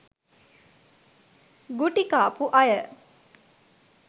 ගුටිකාපු අය